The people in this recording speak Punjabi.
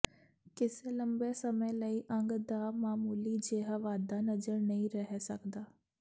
ਕਿਸੇ ਲੰਬੇ ਸਮੇਂ ਲਈ ਅੰਗ ਦਾ ਮਾਮੂਲੀ ਜਿਹਾ ਵਾਧਾ ਨਜ਼ਰ ਨਹੀਂ ਰਹਿ ਸਕਦਾ